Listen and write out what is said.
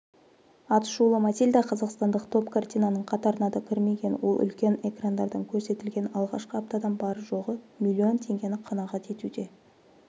атышулы матильда қазақстандық топ картинаның қатарына да кірмеген ол үлкен экрандардан көрсетілген алғашқы аптадан бар жоғы млн теңегені қанағат етуде